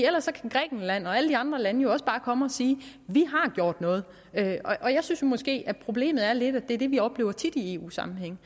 ellers kan grækenland og alle de andre lande jo også bare komme at sige vi har gjort noget jeg synes jo måske at problemet er lidt at det er det vi oplever tit i eu sammenhænge